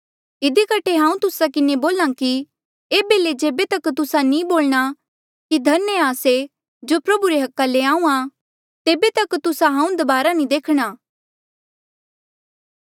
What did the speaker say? इधी कठे हांऊँ तुस्सा किन्हें बोल्हा कि एेबे ले जेबे तक तुस्सा नी बोलणा कि धन्य आ से जो प्रभु रे अधिकारा ले आहूँआं तेबे तक तुस्सा हांऊँ दबारा नी देखणा